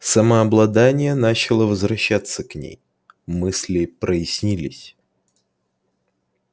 самообладание начало возвращаться к ней мысли прояснились